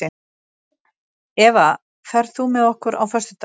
Eva, ferð þú með okkur á föstudaginn?